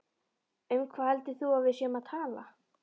Um hvað heldur þú að við séum að tala!